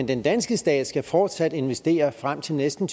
den danske stat fortsat skal investere frem til næsten